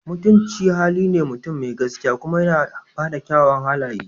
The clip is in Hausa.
Mutunci hali ne mutum mai gaskiya kuma yana da kyawawan halaye.